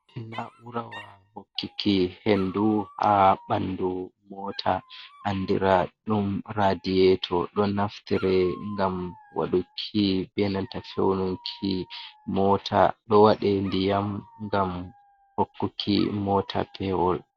Na urawa hokkiki hendu ha ɓandu mota andira ɗum radiyeto , ɗon naftire ngam waɗuki benata fewnunki mota , ɗo waɗe ndiyam gam hokkuki mota pewol.